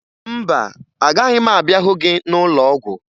Mba, agaghị m abịa hụ gị n'ụlọọgwụ